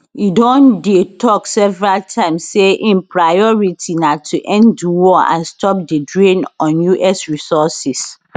e don dey tok several times say im priority na to end di war and stop di drain on us resources